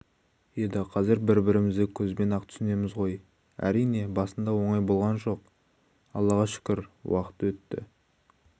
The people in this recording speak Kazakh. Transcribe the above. еді қазір бір-бірімізді көзбен-ақ түсінеміз ғой рине басында оңай болған жоқ аллаға шүкір уақыт өте